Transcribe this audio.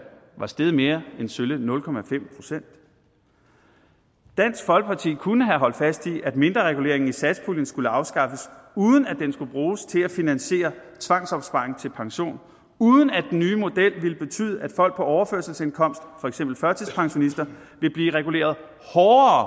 var steget mere end sølle nul procent dansk folkeparti kunne have holdt fast i at mindrereguleringen i satspuljen skulle afskaffes uden at den skulle bruges til at finansiere tvangsopsparing til pension uden at den nye model ville betyde at folk på overførselsindkomst for eksempel førtidspensionister vil blive reguleret hårdere